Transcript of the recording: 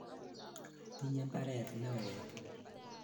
Tinye mbaret ne oo.